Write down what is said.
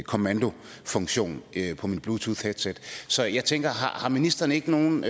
kommandofunktion på mit bluetoothheadset så jeg tænker har ministeren ikke nogen